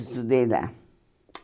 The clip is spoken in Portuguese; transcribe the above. Estudei lá.